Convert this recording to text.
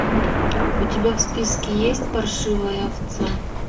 у тебя в списке есть паршивая овца